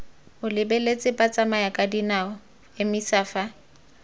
o lebeletse batsamayakadinao emisa fa